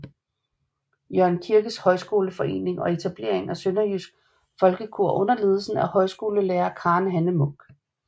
Jørgen Kirkes Højskoleforening og etablering af Sønderjysk Folkekor under ledelse af højskolelærer Karen Hanne Munk